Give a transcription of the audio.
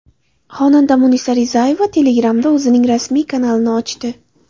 Xonanda Munisa Rizayeva Telegram’da o‘zining rasmiy kanalini ochdi.